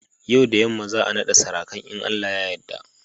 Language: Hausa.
Yau da yamma za'a naɗa sarakan in Allah ya yadda.